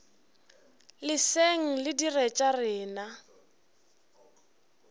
leseng re dire tša rena